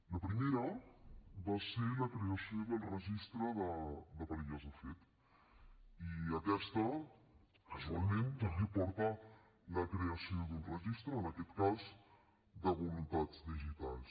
la primera va ser la creació del registre de parelles de fet i aquesta casualment també porta la creació d’un registre en aquest cas de voluntats digitals